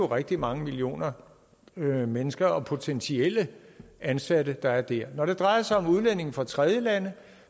rigtig mange millioner mennesker og potentielle ansatte der er dér når det drejer sig om udlændinge fra tredjelande